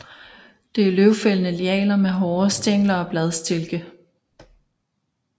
Det er løvfældende lianer med med hårede stængler og bladstilke